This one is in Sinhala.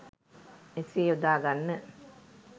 මෙසේ යොදා ගන්න.